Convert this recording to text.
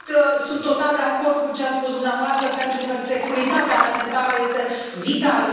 Sunt total de acord cu ce ați spus dumneavoastră, pentru că securitatea alimentară este vitală.